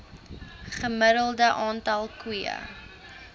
gemiddelde aantal koeie